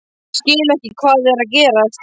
Ég skil ekki hvað er að gerast.